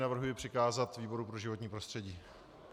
Navrhuji přikázat výboru pro životní prostředí.